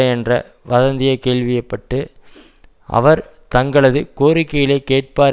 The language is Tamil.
என்ற வதந்தியை கேள்வி பட்டு அவர் தங்களது கோரிக்கைகளை கேட்பார்